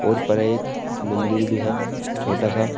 और ऊपर एक मन्दिर भी है छोटा सा।